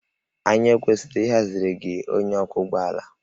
Anyị ọ kwesịrị ịhaziri gị onye ọkwọ ụgbọ ala?